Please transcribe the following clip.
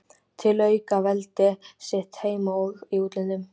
til að auka veldi sitt heima og í útlöndum.